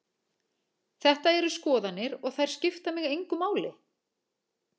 Þetta eru skoðanir og þær skipta mig engu máli.